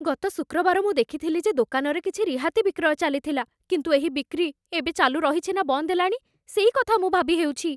ଗତ ଶୁକ୍ରବାର ମୁଁ ଦେଖିଥିଲି ଯେ ଦୋକାନରେ କିଛି ରିହାତି ବିକ୍ରୟ ଚାଲିଥିଲା। କିନ୍ତୁ ଏହି ବିକ୍ରି ଏବେ ଚାଲୁ ରହିଛି, ନା ବନ୍ଦ ହେଲାଣି, ସେଇ କଥା ମୁଁ ଭାବିହେଉଛି।